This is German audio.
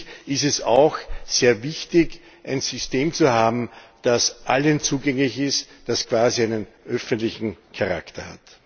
Schließlich ist es auch sehr wichtig, ein System zu haben, das allen zugänglich ist, das quasi einen öffentlichen Charakter hat.